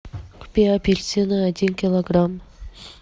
купи апельсины один килограмм